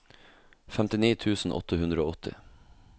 femtini tusen åtte hundre og åtti